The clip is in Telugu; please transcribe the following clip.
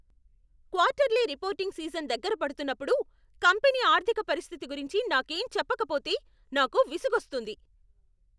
క్వార్టర్లీ రిపోర్టింగ్ సీజన్ దగ్గర పడుతున్నప్పుడు కంపెనీ ఆర్థిక పరిస్థితి గురించి నాకేం చెప్పకపోతే నాకు విసుగొస్తుంది.